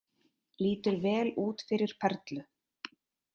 Lítur vel út fyrir Perlu